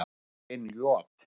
Ég tók inn Joð.